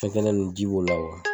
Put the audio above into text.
Fɛn kɛnɛ nn ji b'u la